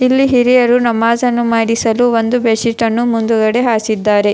ಇಲ್ಲಿ ಹಿರಿಯರು ನಮಾಜನ್ನು ಮಾಡಿಸಲು ಒಂದು ಬೆಡ್ಡ್ ಶೀಟ ನ್ನು ಮುಂದುಗಡೆ ಹಾಸಿದ್ದಾರೆ.